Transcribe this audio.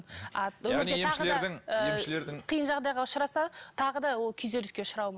а яғни емшілердің ыыы қиын жағдайға ұшыраса тағы да ол күйзеліске ұшрауы